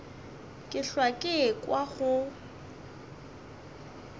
ke hlwa ke ekwa go